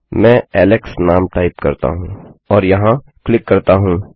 मैं एलेक्स नाम टाइप करता हूँ और यहाँ क्लिक करता हूँ